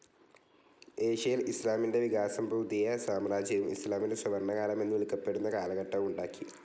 ഏഷ്യയിൽ ഇസ്ലാമിൻ്റെ വികാസം പുതിയ സാമ്രാജ്യവും ഇസ്ലാമിൻ്റെ സുവർണകാലം എന്ന് വിളിക്കപ്പെടുന്ന കാലഘട്ടവും ഉണ്ടാക്കി.